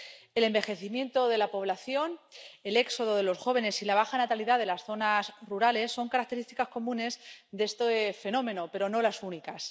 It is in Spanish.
El envejecimiento de la población, el éxodo de los jóvenes y la baja natalidad de las zonas rurales son características comunes de este fenómeno, pero no las únicas.